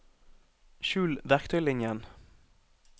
skjul verktøylinjen